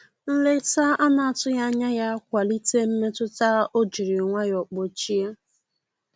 Nleta anatughi anya ya kwalite mmetụta o jiri nwayo kpochie.